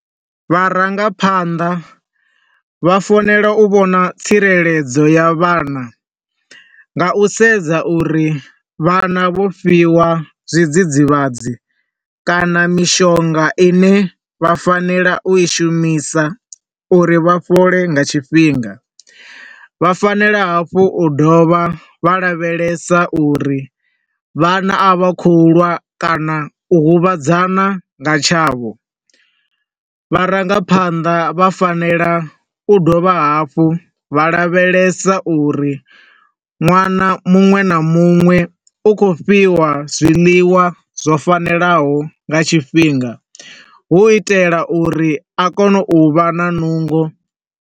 Vharangaphanḓa vha fanela u vhona tsireledzo ya vhana nga u sedza uri vhana vho fhiwa zwidzidzivhadzi kana mishonga ine vha fanela u i shumisa uri vhafhole nga tshifhinga. Vha fanela hafhu u dovha vha lavhelesa uri vhana a vha khou lwa kana u huvhadzana nga tshavho. Vharangaphanḓa vha fanela u dovha hafhu vha lavhelesa uri nwana muṅwe na muṅwe u khou fhiwa zwiḽiwa zwo fanelaho nga tshifhinga, hu u itela uri a kone u vha na nungo.